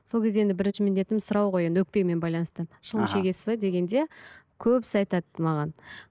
сол кезде енді бірінші міндетім сұрау ғой енді өкпемен байланысты шылым шегесіз бе дегенде көбісі айтады маған